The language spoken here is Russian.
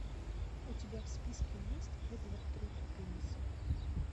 у тебя в списке есть эдвард руки пенисы